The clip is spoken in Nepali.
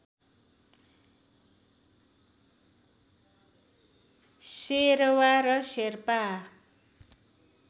शेरवा र शेर्पा